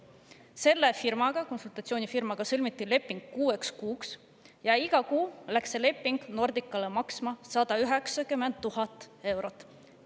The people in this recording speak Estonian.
Selle konsultatsioonifirmaga sõlmiti leping kuueks kuuks ja iga kuu läks see leping Nordicale maksma 190 000 eurot.